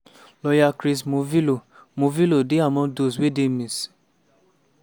lawyer chris morvillo morvillo dey among those wey dey miss.